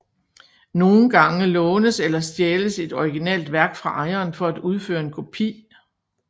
Nogle gange lånes eller stjæles et originalt værk fra ejeren for at udføre en kopi